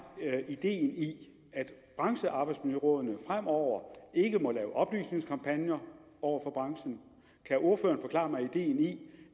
ideen i at branchearbejdsmiljørådene fremover ikke må lave oplysningskampagner over for branchen kan ordføreren forklare mig ideen i